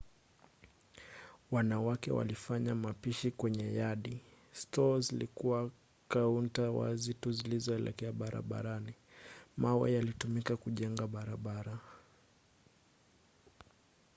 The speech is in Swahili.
wanawake walifanya mapishi kwenye yadi; stoo zilikuwa kaunta wazi tu zilizoelekea barabarani. mawe yalitumika kujengea barabara